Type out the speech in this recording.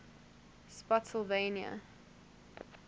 spottsylvania